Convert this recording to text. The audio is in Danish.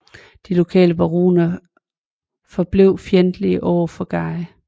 De lokale baroner forblev fjendtlige over for Guy